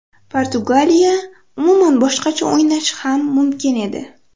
Portugaliya umuman boshqacha o‘ynashi ham mumkin edi.